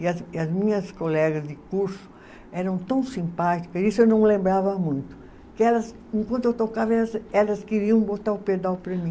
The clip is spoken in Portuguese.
E as, e as minhas colegas de curso eram tão simpáticas, isso eu não lembrava muito, que elas, enquanto eu tocava, elas, elas queriam botar o pedal para mim.